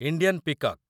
Indian peacock